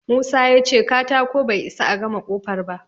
Musa ya ce katako bai isa a gama ƙofar ba.